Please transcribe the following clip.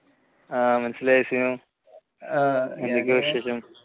ആ മനസ്സിലായിരിക്കുന്നു എന്തൊക്കെയാ വിശേഷം?